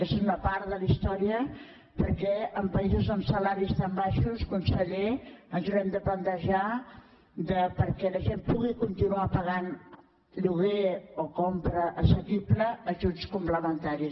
aquesta és una part de la història perquè en països amb salaris tan baixos conseller ens haurem de plantejar perquè la gent pugui continuar pagant lloguer o compra assequible ajuts complementaris